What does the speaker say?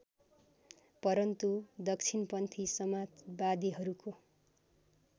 परन्तु दक्षिणपन्थी समाजवादीहरूको